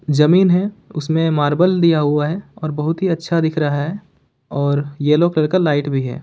जमीन है उसमें मार्बल दिया हुआ है और बहुत ही अच्छा दिख रहा है और येलो कलर का लाइट भी है।